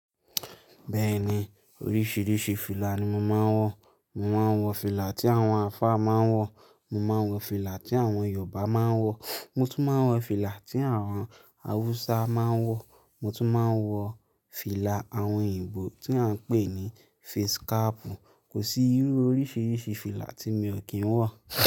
Bẹ́ẹ̀ni, oríṣìíríṣìí fìlà ni mo máa ń wọ. Mo máa ń wọ fìlà tí àwọn alfa máa ń wọ. Mo máa ń wọ fìlà tí àwọn Yorùbá máa ń wọ. Mo tún máa ń wọ fìlà tí àwọn Hausa máa ń wọ. Mo tún máa ń wọ fìlà àwọn òyìnbó tí a ń pè ní face cap. Kò sí irú oríṣìíríṣìí fìlà tí mi ò kí ń wọ.